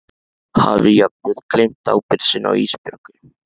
Hafi jafnvel gleymt ábyrgð sinni á Ísbjörgu.